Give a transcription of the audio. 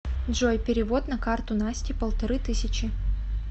джой перевод на карту насте полторы тысячи